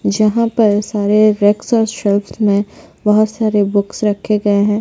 जहाँ पर सारे शॉप बहुत सारे बुक्स रखे गए है।